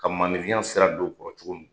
Ka maanifinya sera don u kɔrɔ cogo min